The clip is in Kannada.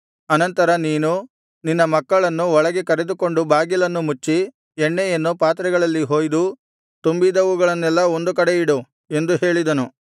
ಅನಂತರ ನೀನು ನಿನ್ನ ಮಕ್ಕಳನ್ನು ಒಳಗೆ ಕರೆದುಕೊಂಡು ಬಾಗಿಲನ್ನು ಮುಚ್ಚಿ ಎಣ್ಣೆಯನ್ನು ಪಾತ್ರೆಗಳಲ್ಲಿ ಹೊಯ್ದು ತುಂಬಿದವುಗಳನ್ನೆಲ್ಲಾ ಒಂದು ಕಡೆಯಿಡು ಎಂದು ಹೇಳಿದನು